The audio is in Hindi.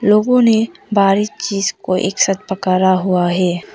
लोगों ने भारी चीज को एक साथ पकड़ा हुआ है।